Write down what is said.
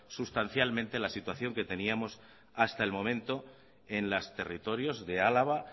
sustancialmente la situación que teníamos hasta el momento en los territorios de álava